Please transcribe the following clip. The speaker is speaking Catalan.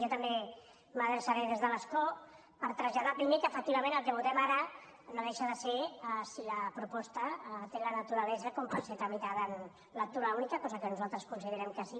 jo també m’adreçaré des de l’escó per traslladar primer que efectivament el que votem ara no deixa de ser si la proposta té la naturalesa com per ser tramitada en lectura única cosa que nosaltres considerem que sí